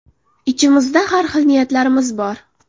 Ichimizda har xil niyatlarimiz bor.